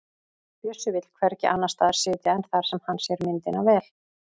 Bjössi vill hvergi annars staðar sitja en þar sem hann sér myndina vel.